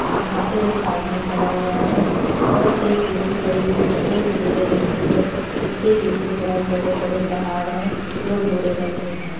ऐ यहाँं पे एक आदमी खड़ा हुआ है और एक कुर्शी पड़ी हुई है जो भूरे रंग की है इसके पीछे बहोत बड़े-बड़े पहाड़ है जो भूरे रंग के हैं।